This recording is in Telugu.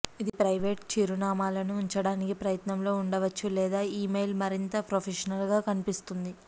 ఇది ప్రైవేటు చిరునామాలను ఉంచడానికి ప్రయత్నంలో ఉండవచ్చు లేదా ఇమెయిల్ మరింత ప్రొఫెషనల్గా కనిపిస్తుంది